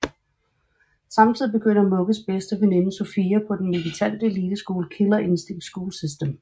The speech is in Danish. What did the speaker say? Samtidig begynder Mugges bedste veninde Sofia på den militante eliteskole Killer Instinct School System